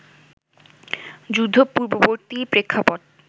যুদ্ধ-পূর্ববর্তী প্রেক্ষাপট